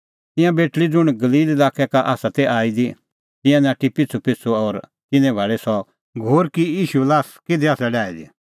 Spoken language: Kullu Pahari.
तिंयां बेटल़ी ज़ुंण गलील लाक्कै का आसा ती आई दी तिंयां नाठी पिछ़ूपिछ़ू और तिन्नैं भाल़ी सह घोर कि ईशूए ल्हास किधी आसा डाही दी